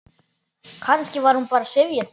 Kannski var hún bara syfjuð.